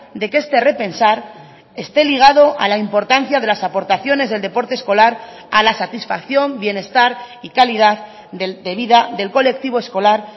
de que este repensar esté ligado a la importancia de las aportaciones del deporte escolar a la satisfacción bienestar y calidad debida del colectivo escolar